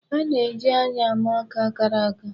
A na-eji anya ama ọka kara aka.